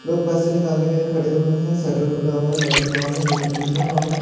लोग पैसे निकालने के लिए खड़े हुए हैं शटर खुला हुआ है लाइटिंग ऑन है एयरकंडीशनर ऑन है ।